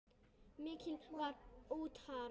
Málið var útrætt.